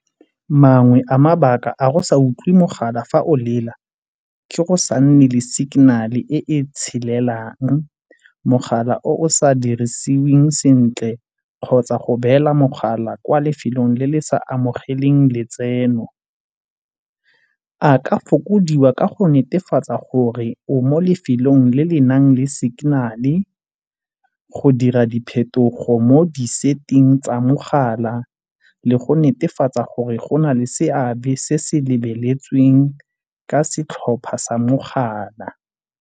Mangwe a mabaka a go sa utlwe mogala fa olela ke go sa nne le signal-e e e tshelelang, mogala o sa dirisiweng sentle kgotsa go beela mogala kwa lefelong le le sa amogelang letseno. A ka fokodiwa ka go netefatsa gore o mo lefelong le le nang le signal-e, go dira diphetogo mo di-setting tsa mogala le go netefatsa gore go na le seabe se se lebeletsweng ka setlhopha sa mogala.